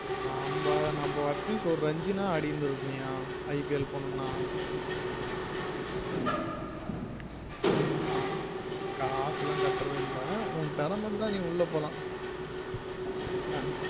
ஆமா நம்ம atleast ஒரு ரன்சீன் ஆச்சும் ஆடிருந்திருக்கனும்யா IPL போனோம்ன அஹ் காசு எல்லாம் கட்டுரது இல்ல உன் திறமை இருத்தா நீ உள்ள போலாம்